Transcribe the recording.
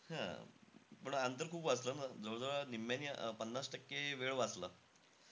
हां. पण अंतर खूप वाचलं ना जवळ-जवळ निम्म्यानी, पन्नास टक्के वेळ वाचला.